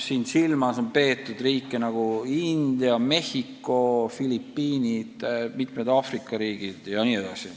Silmas on peetud selliseid riike nagu India, Mehhiko, Filipiinid ja mitmed Aafrika riigid.